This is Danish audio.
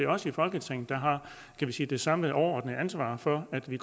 os i folketinget der har kan vi sige det samlede overordnede ansvar for at vi